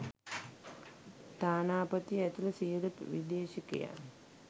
තානාපති ඇතුළු සියලු විදේශිකයන්